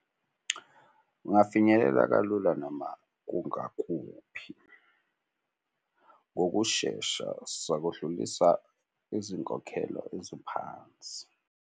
Ungafinyelela kalula noma kungakuphi ngokushesha sakudlulisa izinkokhelo eziphansi.